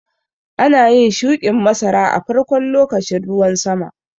Ana yin shuƙin masara a farkon lokacin ruwan sama.